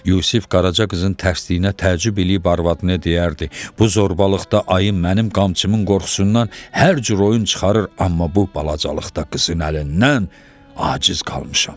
Yusif Qaraca qızın tərsliyinə təəccüb eləyib arvadına deyərdi: Bu zorbalıqda ayın mənim qamçımın qorxusundan hər cür oyun çıxarır, amma bu balacalıqda qızın əlindən aciz qalmışam.